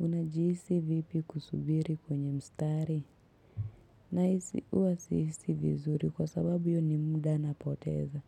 Unajihisi vipi kusubiri kwenye mstari, na hisi huwa sihisi vizuri kwa sababu iyoni muda napoteza.